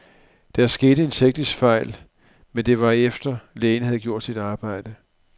Der skete en teknisk fejl, men det var efter, lægen havde gjort sit arbejde.